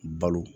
Balo